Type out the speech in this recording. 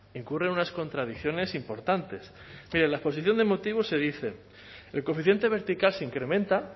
incurre en unas contradicciones importantes pero en la exposición de motivos se dice el coeficiente vertical se incrementa